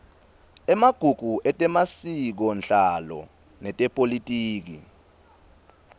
emagugu etemasikonhlalo netepolitiki